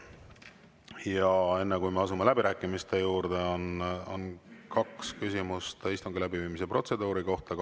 Ja enne, kui me asume läbirääkimiste juurde, on kaks küsimust istungi läbiviimise protseduuri kohta.